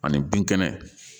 Ani bin kɛnɛ